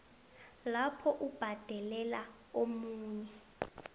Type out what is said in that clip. lapho ubhadelela omunye